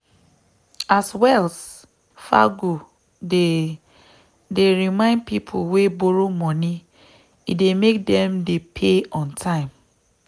as wells fargo dey dey remind people wey borrow money e dey make them dey pay on time.